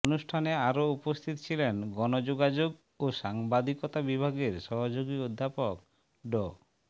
অনুষ্ঠানে আরো উপস্থিত ছিলেন গণযোগাযোগ ও সাংবাদিকতা বিভাগের সহযোগী অধ্যাপক ড